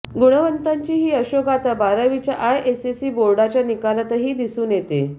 गुणवंतांची ही यशोगाथा बारावीच्या आयएससी बोर्डाच्या निकालातही दिसून येत आहे